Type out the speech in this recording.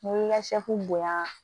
N'i y'i ka bonya